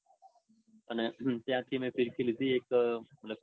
અને ત્યાંથી મેં એક ફીરકી લીધી એક સુરતી માંજાની.